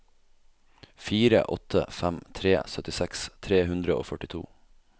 fire åtte fem tre syttiseks tre hundre og førtito